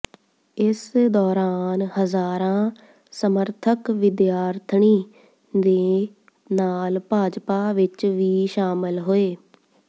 ਇਸ ਦੌਰਾਨ ਹਜ਼ਾਰਾਂ ਸਮਰਥਕ ਵਿਦਿਆਰਾਣੀ ਦੇ ਨਾਲ ਭਾਜਪਾ ਵਿਚ ਵੀ ਸ਼ਾਮਲ ਹੋਏ